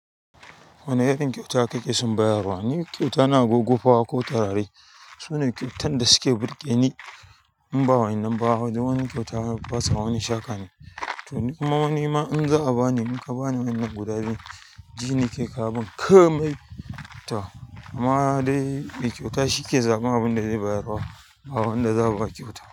Wane irin kyauta kake son bayarwa? Ni kyauta na agogo fawa ko turare. Sune kyautan da suke birge ni in ba wa in ba duk wani kyauta. Ba sa wani shaƙa ni. To, amma hwa nima in za a ba ni, in ka ba ni wannan guda biyun ji ni ke karɓan komai to. Amma dai mai kyauta shi ke zaɓar abunda zai bayar fa ba wanda za a ba kyauta.